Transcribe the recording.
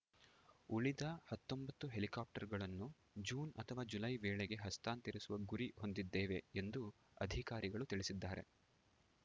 ಉಳಿದ ಹತ್ತೊಂಬತ್ತು ಹೆಲಿಕಾಪ್ಟರ್‌ಗಳನ್ನು ಜೂನ್‌ ಅಥವಾ ಜುಲೈ ವೇಳೆಗೆ ಹಸ್ತಾಂತರಿಸುವ ಗುರಿ ಹೊಂದಿದ್ದೇವೆ ಎಂದು ಅಧಿಕಾರಿಗಳು ತಿಳಿಸಿದ್ದಾರೆ